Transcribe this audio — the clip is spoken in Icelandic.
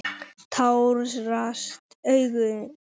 Tárast mín augu.